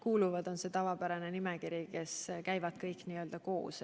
See on see tavapärane nimekiri, kõik need ametid käivad n-ö koos.